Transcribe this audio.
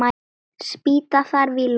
Spýta þarf í lófana.